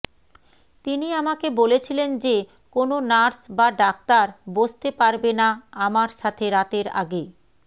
তিনি আমাকে বলেছিলেন যে কোন নার্স বা ডাক্তার বসতে পারবে না আমার সাথে রাতের আগে